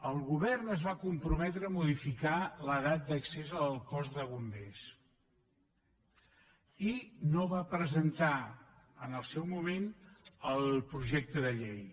el govern es va comprometre a modificar l’edat d’accés al cos de bombers i no va presentar en el seu moment el projecte de llei